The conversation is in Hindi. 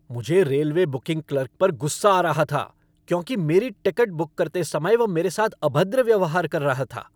मुझे रेलवे बुकिंग क्लर्क पर गुस्सा आ रहा था क्योंकि मेरी टिकट बुक करते समय वह मेरे साथ अभद्र व्यवहार कर रहा था।